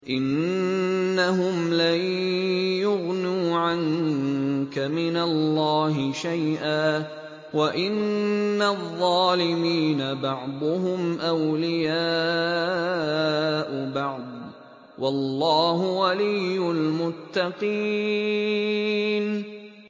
إِنَّهُمْ لَن يُغْنُوا عَنكَ مِنَ اللَّهِ شَيْئًا ۚ وَإِنَّ الظَّالِمِينَ بَعْضُهُمْ أَوْلِيَاءُ بَعْضٍ ۖ وَاللَّهُ وَلِيُّ الْمُتَّقِينَ